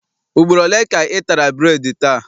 Ugboro ole ka ị tara bureedi taa?